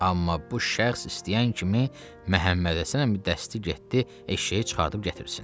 Amma bu şəxs istəyən kimi Məhəmməd Həsən əmi dəsti getdi eşşəyi çıxardıb gətirsin.